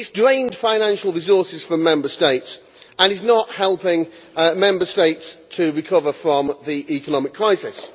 It has drained financial resources from Member States and is not helping Member States to recover from the economic crisis.